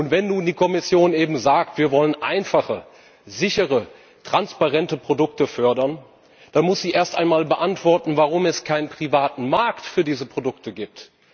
Wenn nun die Kommission eben sagt Wir wollen einfache, sichere, transparente Produkte fördern, dann muss sie erst einmal beantworten, warum es keinen privaten Markt für diese Produkte gibt.